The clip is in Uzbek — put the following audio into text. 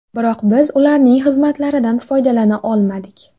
Biroq biz ularning xizmatlaridan foydalana olmadik.